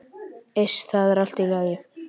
Iss, það er allt í lagi.